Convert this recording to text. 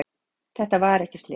Þetta var ekki slys